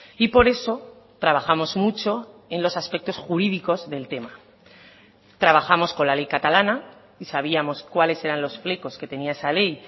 y por eso trabajamos mucho en los aspectos jurídicos del tema trabajamos con la ley catalana y sabíamos cuáles eran los flecos que tenía esa ley